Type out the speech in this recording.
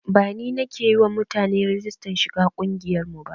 Ba ni nake yi wa mutane rigistar shiga ƙungiyar mu ba